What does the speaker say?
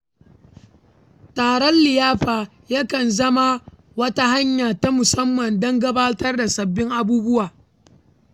Taron liyafa ya kan zama wata hanya ta musamman don gabatar da sabbin abubuwa.